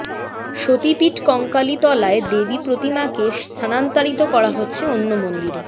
সতীপীঠ কঙ্কালীতলায় দেবী প্রতিমাকে স্থানান্তরিত করা হচ্ছে অন্য মন্দিরে